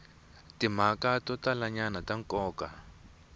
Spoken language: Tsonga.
timhaka to talanyana ta nkoka